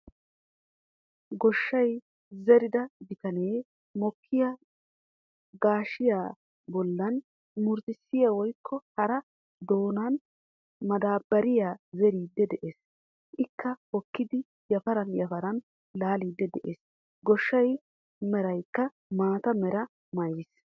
Gaashshiyaa zeerida bitanee mokkiyaa gaashshiyaa bollaan murutissiyaa woykko hara doonan madaabbariyaa zeeriidi de'ees. Ikka hookkidi yaafaran yaafaran laaliidi de'ees. Gaashiyaa meraykka maata meraa maayis.